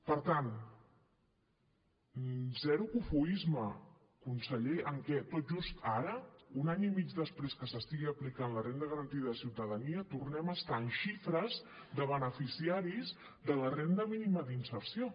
per tant zero cofoisme conseller en què tot just ara un any i mig després que s’estigui aplicant la renda garantida de ciutadania tornem a estar amb xifres de beneficiaris de la renda mínima d’inserció